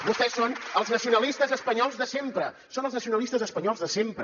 vostès són els nacionalistes espanyols de sempre són els nacionalistes espanyols de sempre